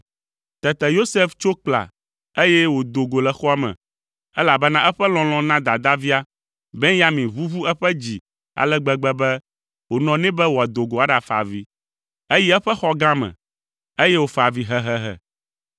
Tete Yosef tso kpla, eye wòdo go le xɔa me, elabena eƒe lɔlɔ̃ na dadavia, Benyamin ʋuʋu eƒe dzi ale gbegbe be wònɔ nɛ be wòado go aɖafa avi. Eyi eƒe xɔ gã me, eye wòfa avi hehehe.